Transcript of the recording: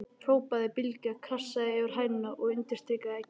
hrópaði Bylgja, krassaði yfir hænuna og undirstrikaði eggið.